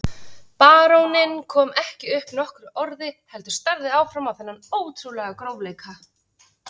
Baróninn kom ekki upp nokkru orði heldur starði áfram á þennan ótrúlega grófleika.